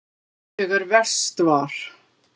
Þegar verst var.